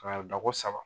Ka dako saba